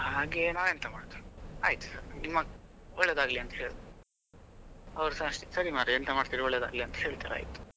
ಹಾಗೇ ನಾವೆಂತ ಮಾಡುದು ಆಯ್ತ್ ನಿಮ್ಮ ಒಳ್ಳೆದಾಗಲಿ ಅಂತ ಹೇಳಿದ್ರು ಅವರು ಸಹ ಅಷ್ಟೇ ಸರಿ ಮರ್ರೆ ಎಂತ ಮಾಡ್ತಿರಿ ಒಳ್ಳೇದಾಗ್ಲಿ ಅಂತ ಹೇಳ್ತಾರೆ ಆಯ್ತ್.